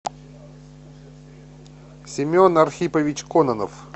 семен архипович кононов